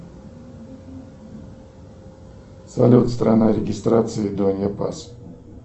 салют страна регистрации